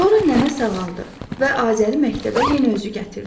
Sonra nənə sağaldı və Azəri məktəbə yenə özü gətirdi.